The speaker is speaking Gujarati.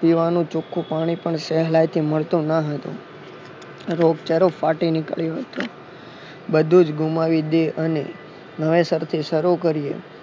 પીવાનું ચોખ્ખું પાણી પણ સહેલાઈથી મળતું ન હતું રોગચાળો ફાટી નીકળ્યો હતો બધું જ ગુમાવી દે અને નવે સારથી શરૂ કરીએ